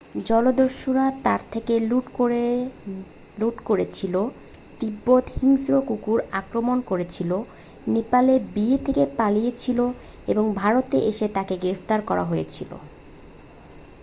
জলদস্যুরা তার থেকে লুট করেছিল তিব্বতে হিংস্র কুকুর আক্রমণ করেছিল নেপালে বিয়ে থেকে পালিয়েছিল এবং ভারতে এসে তাকে গ্রেপ্তার করা হয়েছিল